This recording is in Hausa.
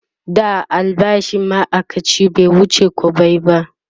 da albashin maaikaci bai wuce kwabbai ba